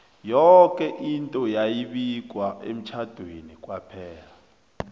yoke into yayi bikwa emtjhade kwaphela